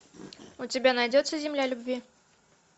у тебя найдется земля любви